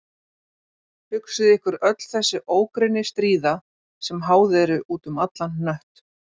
Hugsið ykkur öll þessi ógrynni stríða sem háð eru út um allan hnött.